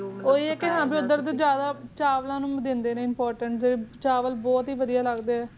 ਤ ਜਿਆਦਾ ਚਾਵਲਾਂ ਨੂ ਇਮ੍ਰ੍ਤਾਂਸ ਯਾਨੇ ਭਾਟ ਵਾਦਿਯ ਲਗ ਦੇ ਆ